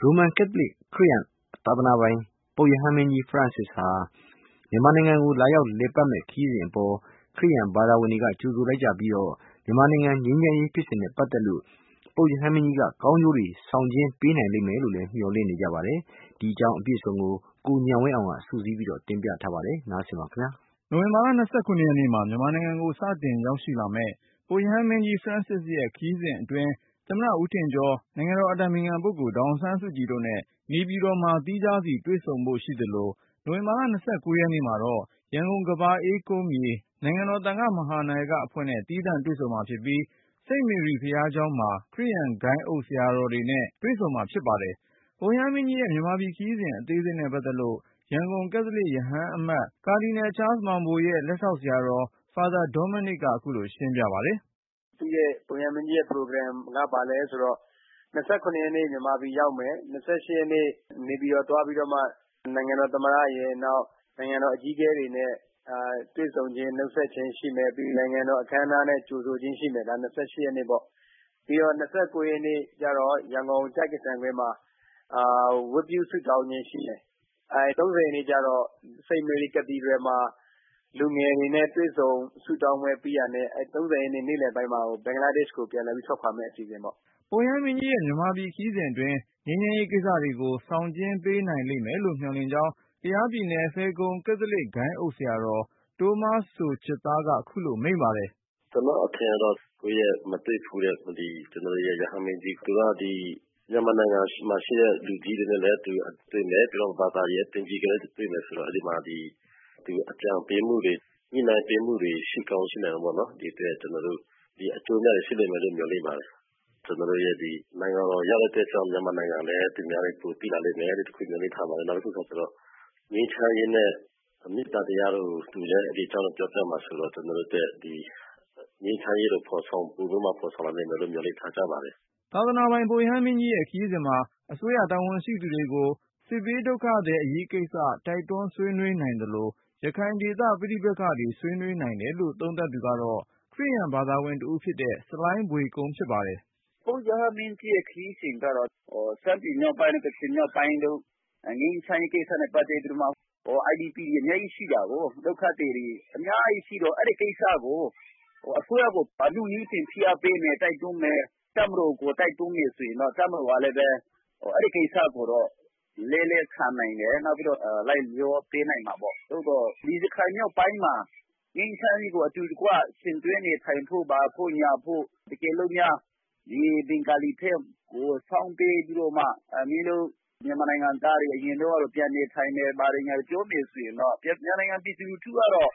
ရိုမန်ကက်သလစ် ခရစ်ယာန်သာသနာပိုင် ပုပ်ရဟန်းမင်းကြီး Francis မြန်မာနိုင်ငံကို လာရောက်လည်ပတ်မယ့်ခရီးစဉ်အပေါ် ခရစ်ယာန် ဘာသာဝင်တွေက ကြိုဆိုလိုက်ကြပြီး မြန်မာနိုင်ငံငြိမ်းချမ်းရေး ဖြစ်စဉ်နဲ့ပတ်သက်လို့ ပုပ်ရဟန်းမင်းကြီးက ကောင်းကျိုးတွေ ဆောင်ကျဉ်းပေး နိုင်လိမ့်မယ်လို့ မျှော်လင့်နေကြပါတယ်။ ဒီအကြောင်း ကိုဉာဏ်ဝင်းအောင်က စုစည်းတင်ပြထားပါတယ်။ နိုဝင်ဘာလ ၂၇ ရက်နေ့မှာ မြန်မာနိုင်ငံကို စတင်ရောက်ရှိလာမယ့် ပုပ်ရဟန်းမင်းကြီး Francis ရဲ့ ခရီးစဉ်အတွင် သမ္မတ ဦးထင်ကျော်၊ နိုင်ငံတော် အတိုင်ပင်ခံပုဂ္ဂိုလ် ဒေါ်အောင် ဆန်းစုကြည်တို့နဲ့ နေပြည်တော်မှာ သီးခြားစီတွေ့ဆုံဖို့ ရှိသလို၊ နိုဝင်ဘာလ ၂၉ ရက်နေ့ မှာတော့ ရန်ကုန် ကမ္ဘာအေးကုန်းမြေ နိုင်ငံတော် သံဃမဟာနာယက အဖွဲ့နဲ့ သီးသန့်တွေ့ ဆုံမှာဖြစ်ပြီး စိန့်မေရီ ဘုရားကျောင်းမှ ခရစ်ယာန် ဂိုဏ်းအုပ် ဆရာတော်တွေနဲ့ တွေ့ဆုံမှာ ဖြစ်ပါတယ်။ ပုပ်ရဟန်းမင်းကြီးရဲ့ မြန်မာပြည်ခရီးစဉ် အသေးစိတ်နဲ့ပတ်သက်လို့ ရန်ကုန် ကက်သလစ် ရဟန်းအမတ် ကာဒီနယ် ချားလ်စ်မောင်ဘိုရဲ့ လက်ထောက် ဆရာတော် Father Dominic ကခုလိုရှင်းပြပါတယ်။ “ပုပ်ရဟန်းမင်းကြီးရဲ့ခရီးစဉ်က ဘာလဲဆိုတော့ ၂၇ ရက်နေ့ မြန်မာပြည်ရောက်မယ်၊ ၂၈ ရက်နေ့ နေပြည်တော် သွားပြီးတော့မှ နိုင်ငံတော်သမ္မတရယ်၊ နောက် နိုင်ငံတော်အကြီး အကဲတွေနဲ့ တွေ့ဆုံခြင်း၊ နှုတ်ဆက်ခြင်းရှိမယ်။ နိုင်ငံတော်အခမ်းအနားနဲ့ကြိုဆိုခြင်းရှိမယ်၊ ဒါက ၂၈ ရက်နေ့။ ၂၉ ရက်နေ့ကျတော့ ရန်ကုန် ကျိုက္ကဆံကွင်းမှာ ဝတ်ပြုဆုတောင်းခြင်း ရှိမယ်။ ၃၀ ရက်နေ့ကျတော့ St. Mary Cathedral မှာ လူငယ်တွေနဲ့ တွေ့ဆုံ ဆုတောင်းပွဲပြီးတာနဲ့ နေ့လည်ပိုင်းမှာ ဘင်္ဂလားဒက်ရှ်ကို ပြန်လည်ထွက်ခွာမယ့်အစီအစဉ်ပေါ့။” ပုပ်ရဟန်းမင်းကြီးရဲ့ မြန်မာပြည်ခရီးစဉ်အတွင်း ငြိမ်းချမ်းရေးကိစ္စတွေကို ဆောင်ကျဉ်း ပေးနိုင်လိမ့်မယ်လို့ မျှော်လင့်ကြောင်း ကယားပြည်နယ် ဖယ်ခုံ ကက်သလစ်ဂိုဏ်းအုပ် ဆရာတော် တိုးမားစိုချစ်သားက ခုလိုမိန့်ပါတယ်။ “ကျနော့်အထင်ကတော့ မတွေ့ဘူးတဲ့ ကျနော်တို့ရဲ့ရဟန်းမင်းကြီး၊ သူက မြန်မာနိုင်ငံမှာ ရှိတဲ့လူကြီးတွေနဲ့လည်းတွေ့မယ်၊ ပြီးတော့ ဘာသာရေးအသင်းကြီးနဲ့လည်းတွေ့မယ် ဆိုတော့ အကြံပေးမှုတွေ၊ ညှိနှိုင်းပေးမှုတွေ ရှိကောင်းရှိမှာပေါ့နော်၊ ဒီအတွက် ကျနော်တို့ အကျိုးအမြတ်တွေ ရှိလိမ့်မယ်လို့ မျှော်လင့်ပါတယ်။ မြန်မာနိုင်ငံကို ရောက်လာတဲ့ အတွက်ကြောင့် မြန်မာနိုင်ငံကိုလည်း သူများတွေ ပိုသိလာလိမ့်မယ်လို့ မျှော်လင့်ပါတယ်။ နောက်တခုကကျတော့ ငြိမ်းချမ်းရေးနဲ့ မေတ္တာတရားတို့ကို သူလည်း ဒီအကြောင်းတွေ ပြောပြမှာဆိုတော့ ကျနော်တို့အတွက် ငြိမ်းချမ်းရေးကို ပိုပြီးတော့မှဖော်ဆောင်လာနိုင်မယ် လို့ မျှော်လင့်ပါတယ်။” သာသနာပိုင် ပုပ်ရဟန်းမင်းကြီးရဲ့ ခရီးစဉ်မှာ အစိုးရတာဝန်ရှိသူတွေကို စစ်ဘေးဒုက္ခသည် အရေးကိစ္စ တိုက်တွန်း ဆွေးနွေးနိုင်သလို ရခိုင်ဒေသ ပဋိပက္ခတွေ ဆွေးနွေးနိုင်တယ်လို့ သုံးသပ်သူက ခရစ်ယာန်ဘာသာဝင်တဦးဖြစ်တဲ့ ဆလိုင်းဘွေကုန်း ဖြစ်ပါတယ်။ “ပုပ်ရဟန်းမင်းကြီးရဲ့ခရီးစဉ်ကတော့ ရှမ်းပြည်မြောက်ပိုင်းတို့၊ ကချင်မြောက်ပိုင်းတို့မှာ ငြိမ်းချမ်းရေးကိစ္စနဲ့ ပတ်သက်ပြီးတော့မှ IDP တွေ အများကြီးရှိတာကိုး။ ဒုက္ခသည်တွေ အများကြီးရှိတော့ အဲဒီကိစ္စကို အစိုးရကို အနုနည်းဖြင့် ဖိအားပေးမယ်၊ တိုက်တွန်းမယ်၊ တပ်မတော်ကို တိုက်တွန်းမယ်၊ တပ်မတော်ကလည်းပဲ အဲဒီကိစ္စကို လက်လည်း ခံနိုင်တယ်၊ နောက်ပြီးတော့ လိုက်လျောပေးနိုင်မှာပေါ့။ သို့သော် ရခိုင်မြောက်ပိုင်းမှာ ငြိမ်းချမ်းရေးကို အတူတကွ ယှဉ်တွဲနေထိုင်ဖို့၊ ဘာဖို့၊ ညာဖို့ တကယ်လို့များ ဒီ ဘင်္ဂါလီဘက်ကို စောင်းပေးပြီးတော့မှ ‘မင်းတို့ မြန်မာနိုင်ငံသားတွေ အရင်တုန်းကလို ပြန်နေထိုင်မယ်၊ ဘာတွေ ညာတွေ ’ - ပြောမယ်ဆိုရင်တော့ မြန်မာနိုင်ငံ ပြည်သူလူထု ကတော့